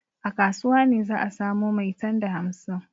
A kasuwa ne za a samo maitan da hamsin.